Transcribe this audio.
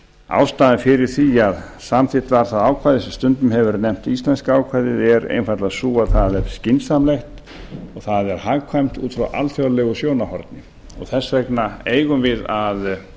ástæðan fyrir því að samþykkt var það ákvæði sem stundum hefur verið nefnt íslenska ákvæðið er einfaldlega sú að það er skynsamlegt og það er hagkvæmt út frá alþjóðlegu sjónarhorni þess vegna eigum við að